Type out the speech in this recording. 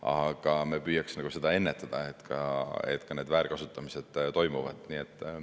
Aga me püüame nende väärkasutamiste toimumist ennetada.